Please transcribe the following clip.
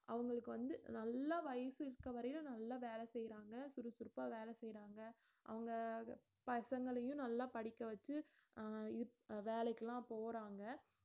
அவங்களுக்கு வந்து நல்ல வயசு இருக்க வரையும் நல்ல வேலை செய்யறாங்க சுறுசுறுப்பா வேலை செய்யறாங்க அவங்க பசங்களையும் நல்லா படிக்க வச்சு அஹ் வேலைக்கு எல்லாம் போறாங்க